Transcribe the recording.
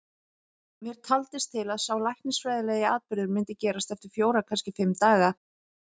Mér taldist til að sá læknisfræðilegi atburður myndi gerast eftir fjóra, kannski fimm daga.